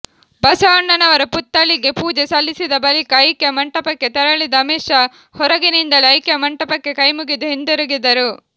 ಬಸವಣ್ಣನವರ ಪುತ್ಥಳಿಗೆ ಪೂಜೆ ಸಲ್ಲಿಸಿದ ಬಳಿಕ ಐಕ್ಯ ಮಂಟಪಕ್ಕೆ ತೆರಳಿದ ಅಮಿತ್ ಶಾ ಹೊರಗಿನಿಂದಲೇ ಐಖ್ಯಮಂಟಪಕ್ಕೆ ಕೈಮುಗಿದು ಹಿಂತಿರುಗಿದರು